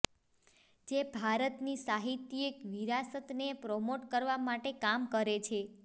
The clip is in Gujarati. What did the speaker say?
જે ભારતની સાહિત્યિક વિરાસતને પ્રમોટ કરવા માટે કામ કરે છે